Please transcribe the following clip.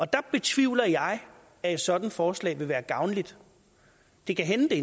der betvivler jeg at et sådant forslag vil være gavnligt det kan hænde det